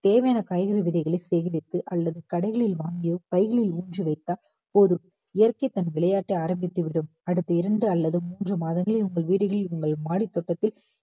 தேவையான காய்கறி விதைகளை சேகரித்து அல்லது கடைகளில் வாங்கியோ பைகளில் ஊன்றி வைத்தால் போதும் இயற்கை தன் விளையாட்டை ஆரம்பித்து விடும் அடுத்து இரண்டு அல்லது மூன்று மாதங்களில் உங்கள் வீடுகளில் உங்கள் மாடி தோட்டத்தில்